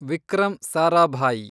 Vikram Sarabhai